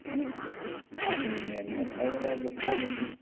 അതെ മ്യാന്മർ അതെങ്ങനാ guess യ്യാൻ പറ്റി